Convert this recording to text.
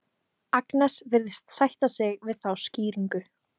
Agnes virðist sætta sig við þá skýringu.